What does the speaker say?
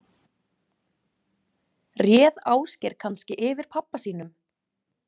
Réð Ásgeir kannski yfir pabba sínum?